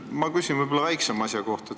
Ma küsin väiksema asja kohta.